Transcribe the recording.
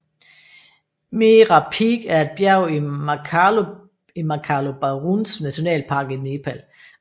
Mera Peak er et bjerg i Makalu Baruns nationalpark i Nepal